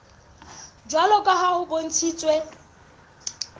jwalo ka ha ho bontshitswe